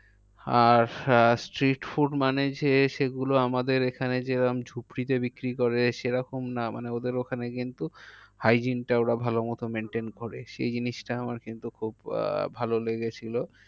আর আহ street food মানে যে সেগুলো আমাদের এখানে যে রকম ঝুপড়িতে বিক্রি করে সে রকম না ওদের ওখানে কিন্তু hygiene টা ওরা ভালো মতো maintain করে। সে জিনিসটা আমার কিন্তু খুব আহ ভালো লেগেছিলো।